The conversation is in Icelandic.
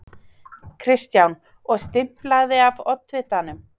Kristján: Og stimplað af oddvitanum?